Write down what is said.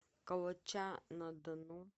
калача на дону